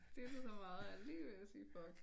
Dyttet så meget at jeg er lige ved at sige fuck